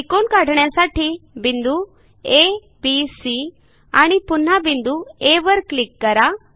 त्रिकोण काढण्यासाठी बिंदू abसी आणि पुन्हा बिंदू आ वर क्लिक करा